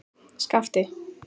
Skapti